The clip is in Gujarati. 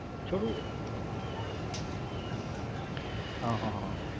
છોટુ હા હા હા હા